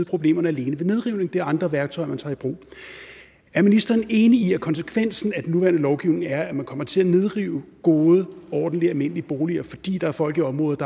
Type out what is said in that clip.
problemerne alene ved nedrivning det er andre værktøjer man tager i brug er ministeren enig i at konsekvensen af den nuværende lovgivning er at man kommer til at nedrive gode ordentlige almindelige boliger fordi der er folk i området